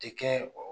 Tɛ kɛ o